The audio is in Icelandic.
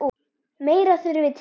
Meira þurfi til.